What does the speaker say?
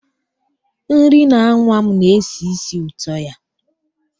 Nri na-anwa m na-esi ísì ụtọ ya.